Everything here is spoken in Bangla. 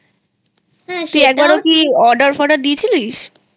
তুই একবার কি Order ফডার দিয়েছিলিস?